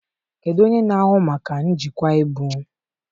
Kedu onye na-ahụ maka njikwa ibu?